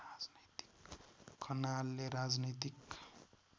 खनालले राजनैतिक